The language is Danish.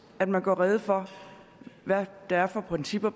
at man gør rede for hvad det er for principper